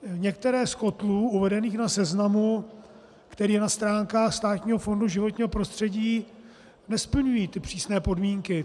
Některé z kotlů uvedených na seznamu, který je na stránkách Státního fondu životního prostředí, nesplňují ty přísné podmínky.